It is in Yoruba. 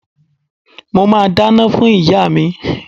Mo máa dáná fún ìyá mi.